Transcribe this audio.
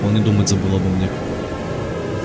он и думать забыл обо мне